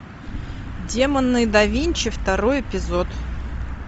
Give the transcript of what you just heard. демоны да винчи второй эпизод